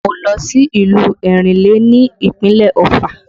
Mo lọ sí ìlú Erinle ní ìpínlẹ̀ Ofà